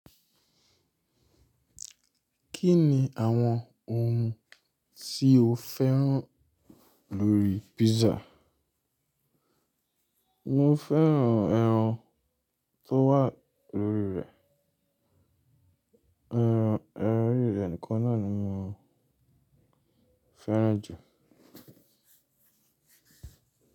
Kí ni àwọn ohun tí o fẹ́ràn lórí písà? Mo fẹ́ràn ẹran tó wà lórí rẹ̀. Eran oriré ni kan náà ni mo fẹ́ràn jù.